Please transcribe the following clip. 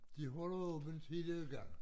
De holder åbent hele dagen